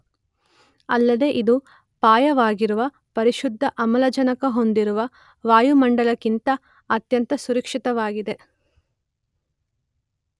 ಅಲ್ಲದೇ ಇದು ಪರ್ಯಾಯವಾಗಿರುವ ಪರಿಶುದ್ಧ ಆಮ್ಲಜನಕ ಹೊಂದಿರುವ ವಾಯುಮಂಡಲಕ್ಕಿಂತ ಅತ್ಯಂತ ಸುರಕ್ಷಿತವಾಗಿದೆ.